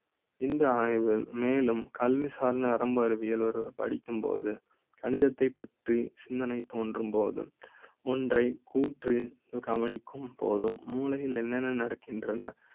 இந்த ஆய்வு மேலும். கல்வி சார் நரம்பு அறிவியல் ஒரு படிக்கும்போது கணித த்தைப் பற்றி சிந்தனை தோன்றும் போது ஒன்றை கூற்று கவனிக்கும் போதும் மூளை யில் என்னென்ன நடக்கின்றன